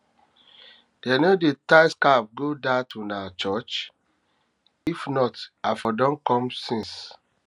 dem no dey tie scarf go dat una church if not i for don come since